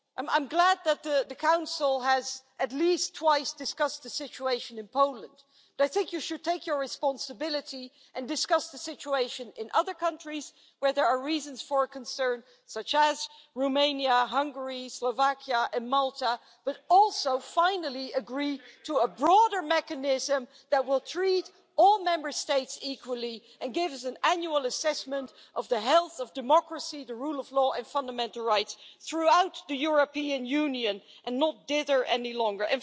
I'm glad that the Council has at least twice discussed the situation in Poland, but I think you should take your responsibility and discuss the situation in other countries where there are reasons for concern, such as Romania, Hungary, Slovakia and Malta, but also finally agree to a broader mechanism that will treat all Member States equally and gives an annual assessment of the health of democracy, the rule of law and fundamental rights throughout the European Union and not dither any longer.